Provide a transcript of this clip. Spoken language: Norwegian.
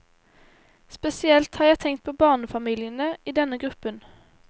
Spesielt har jeg tenkt på barnefamiliene i denne gruppen.